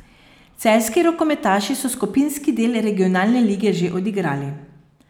Celjski rokometaši so skupinski del regionalne lige že odigrali.